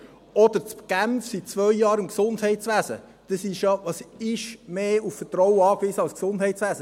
Oder in Genf seit zwei Jahren im Gesundheitswesen: Was ist mehr auf Vertrauen angewiesen als das Gesundheitswesen?